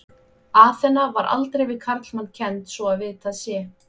Aþena var aldrei við karlmann kennd svo að vitað sé.